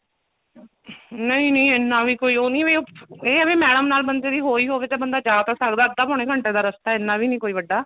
ਨਹੀਂ ਨਹੀਂ ਇੰਨਾ ਵੀ ਕੋਈ ਉਹ ਨਹੀਂ ਵੀ ਉਹ ਇਹ ਹੈ ਵੀ madam ਨਾਲ ਬੰਦੇ ਦੀ ਹੋਈ ਹੋਵੇ ਤਾ ਬੰਦਾ ਜਾ ਤਾਂ ਸਕਦਾ ਅੱਧਾ ਪੋਣੇ ਘੰਟੇ ਦਾ ਰਸਤਾ ਇੰਨਾ ਵੀ ਨੀ ਕੋਈ ਵੱਡਾ